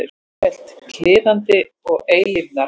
Sífellt kliðandi og eilífrar.